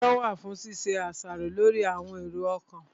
Ọpọlọ wà fún ṣíṣe àṣàrò lórí àwọn èrò ọkàn